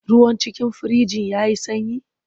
Ruwan cikin firijin ya yi sanyi?